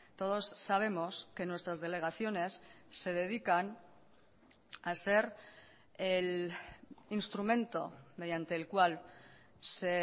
todos sabemos que nuestras delegaciones se dedican a ser el instrumento mediante el cual se